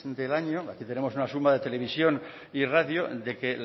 del año aquí tenemos una suma de televisión y radio de que